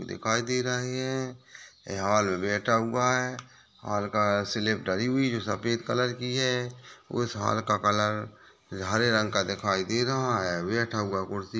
दिखाई दे रहे हैं ये हॉल बैठा हुआ हैं हॉल का सिलिप डाली हुई हैं जो सफेद कलर की हैं उस हाल का कलर हरे रंग का दिखाई दे रहा हैं बैठा हुआ कुर्सी --